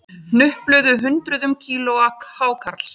Hnupluðu hundruðum kílóa hákarls